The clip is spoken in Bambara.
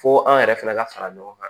Fo an yɛrɛ fana ka fara ɲɔgɔn kan